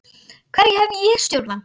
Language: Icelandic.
Hverju hef ég stjórn á?